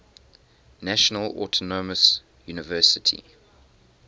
national autonomous university